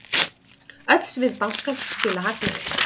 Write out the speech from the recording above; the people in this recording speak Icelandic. Öll svið bankans skila hagnaði.